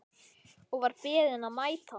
Og var beðinn að mæta.